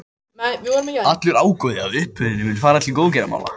Allur ágóði af uppboðinu mun fara til góðgerðamála.